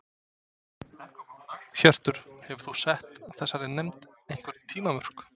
Hjörtur: Hefur þú sett þessari nefnd einhver tímamörk?